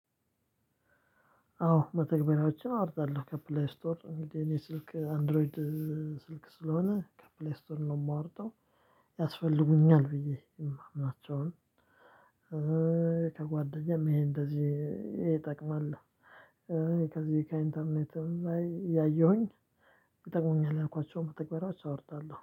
አዎ መተግበሪያዎችን አወርዳለሁ ከፕሌይ ስቶር የእኔ ስልክ አንድሮይድ ስለሆነ ከፕሌስቶር ነው የማውረድው። ያስፈልጉኛል ብዬ የማምናቸውን ከጓደኛም ይሄን እንደዚህ ይጠቅማል። ከዚህ ከኢንተርኔትም ላይ እያየሁኝ። ይጠቅሙኛል ያልኳቸውን መተግበሪያዎች አወርዳለሁ